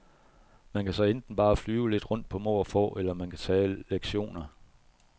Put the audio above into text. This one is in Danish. Man kan så enten bare flyve lidt rundt på må og få, eller man kan tage lektioner.